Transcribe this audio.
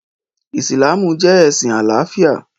Ìsìlámù jẹ́ ẹ̀sìn àlàáfíà